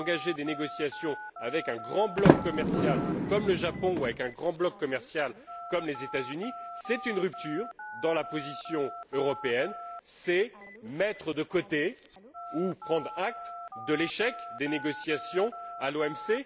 Engager des négociations avec un grand bloc commercial comme le Japon ou un grand bloc commercial comme les États Unis, c'est une rupture dans la position européenne, c'est mettre de côté ou prendre acte de l'échec des négociations à l'OMC.